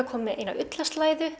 kominn með eina